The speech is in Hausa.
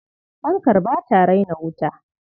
Fankar ba ta raina wuta.